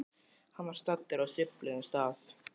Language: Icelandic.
Hann var staddur á subbulegum stað.